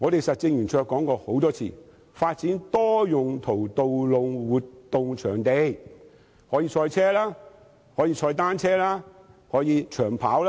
實政圓桌曾多次建議發展多用途道路活動場地，可以賽車、踏單車及長跑。